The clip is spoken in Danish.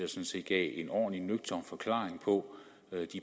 synes jeg en ordentlig og nøgtern forklaring på